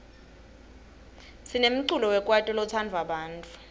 sinemculo wekwaito lotsandwa bantfu